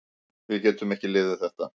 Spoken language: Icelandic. Við getum ekki liðið þetta.